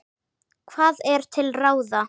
Hvað er til ráða